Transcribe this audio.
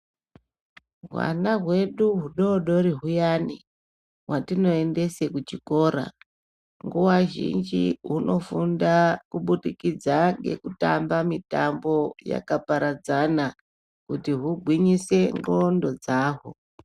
Hwana hwedu hudodori huyani, hwatinoendese kuchikora, nguwa zhinji hunofunda kubudikidza ngekutamba mitambo yakaparadzana kuti hugwinyise ndxondo dzahwo